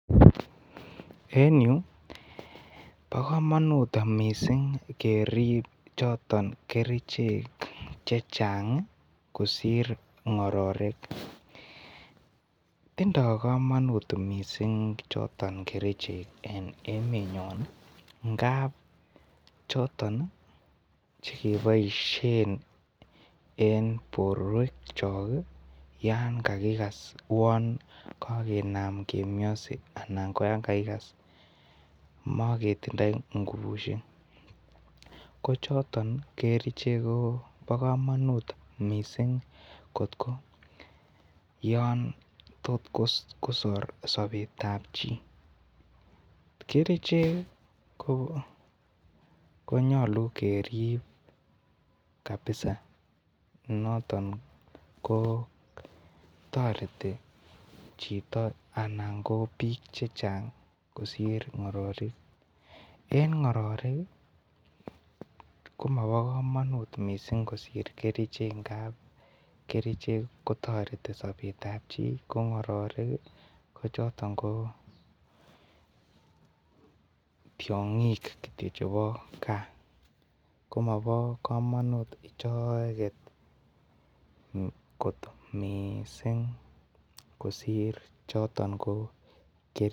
En yu bo komonut missing kerib choton kerichek chechang kosir ng'ororek, tindo komonut missing choton kerichek en emenyon ii ng'ab choton ii chekeboisien en borwekchok yan kakikas ouon kakinam kemiose anan koyakakisas megetindoi ngubusiek, kochoton kerichek ko bo komonut missing kotyo yon totkosor sobet ab chii, kerichek ii ko nyolu keriib kabisa noton kotoreti chiton anan ko biik chechang kosir ng'orerik, en ng'ororik komobo komonut missing kosir kerichek ng'ab kerichek kotoreti sobet ab chii ko ng'ororik ko choton ko tiong'ik kityo chebo gaa, komobo komonut icheget koot missing kosir choton ko kerichek.